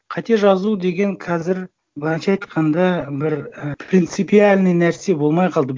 қате жазу деген қазір былайынша айтқанда бір і принципиальный нәрсе болмай қалды